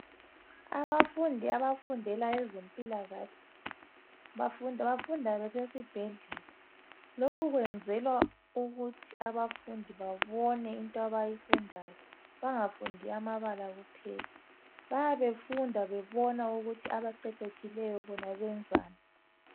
Abafundi abafundela ezempilakahle bafunda besesibhedlela lokhu kwenzelwa ukuthi abafundi babone into abayifundayo bengafundi amabala kuphela. Bayabe befunda bebona ukuthi abaqeqetshileyo bona benzani